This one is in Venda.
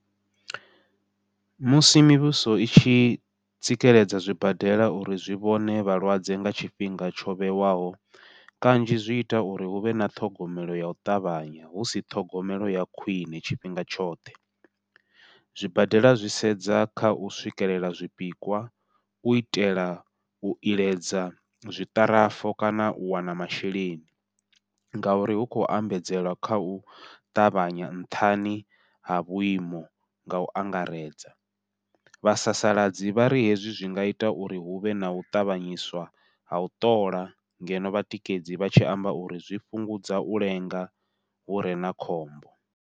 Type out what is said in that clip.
Musi mivhuso i tshi tsikeledza zwibadela uri zwi vhone vhalwadze nga tshifhinga tsho vhewaho, kanzhi zwi ita uri huvhe na ṱhogomelo yau ṱavhanya husi ṱhogomelo ya khwiṋe tshifhinga tshoṱhe. Zwibadela zwi sedza khau swikelela zwipikwa u itela u iledza zwiṱarafu kana u wana masheleni, ngauri hu khou ambadzela kha u ṱavhanya nṱhani ha vhuimo ngau angaredza. Vhasasaladza vhari hezwi zwi nga ita uri huvhe nau tavhanyedziswa ha u ṱola ngeno vhatikedzi vha tshi amba uri zwi fhungudza u lenga hure na khombo.